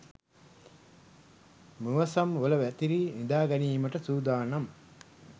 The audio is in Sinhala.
මුවසම් වල වැතිරී නිදාගැනීමට සුදානම්.